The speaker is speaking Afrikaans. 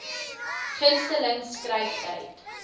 gunste ling skryftyd